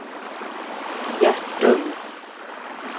Hjärtum